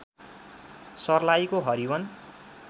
सर्लाहीको everyone